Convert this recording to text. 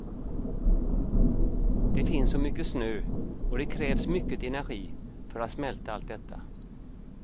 Det finns så mycket snö, och det krävs mycket energi för att smälta allt detta.